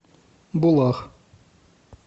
булах